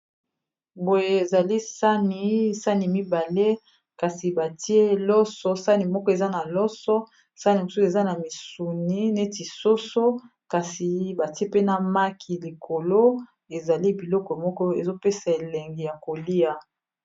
Boye ezali sani sani mibale kasi batie loso sani moko eza na loso sani mosusu eza na misuni neti soso kasi batie pena maki likolo ezali biloko moko ezopesa elengi ya kolia